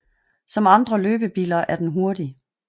Som andre løbebiller er den hurtig